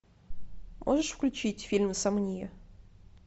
можешь включить фильм сомния